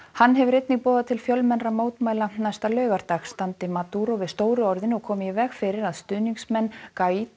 hann hefur einnig boðað til fjölmennra mótmæla næsta laugardag standi Maduro við stóru orðin og komi í veg fyrir að stuðningsmenn